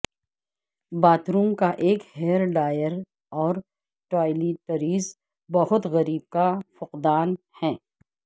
bath room ایک hair dryer اور toiletries بہت غریب کا فقدان ہے